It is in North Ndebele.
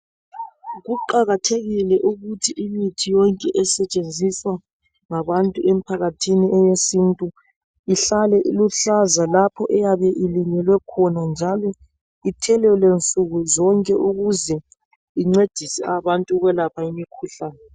Kuqakathekile ukuthi imithi yonke esetshenziswa ngabantu emphakathini eyesintu ihlale iluhlaza lapho eyabe ilinyelwe khona njalo ithelelwe nsuku zonke ukuze incedise abantu ukuyelapha imikhuhlane.